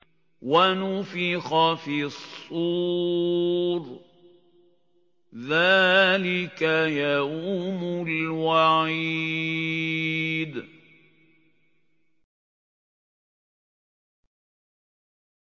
وَنُفِخَ فِي الصُّورِ ۚ ذَٰلِكَ يَوْمُ الْوَعِيدِ